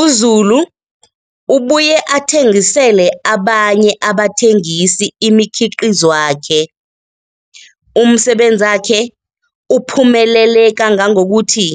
UZulu ubuye athengisele abanye abathengisi imikhiqizwakhe. Umsebenzakhe uphumelele kangangokuthi